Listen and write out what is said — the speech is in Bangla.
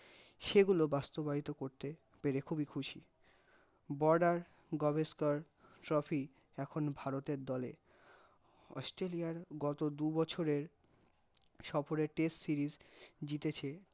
সেগুলো বাস্তবায়িত করতে পেরে খুবিই খুশি, border Gavaskar trophy এখন ভারতের দলে, অস্ট্রালইয়ার গত দু বছরের সফরে test series জিতেছে